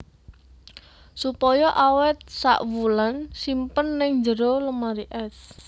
Supaya awet sak wulan simpen ng jero lemari es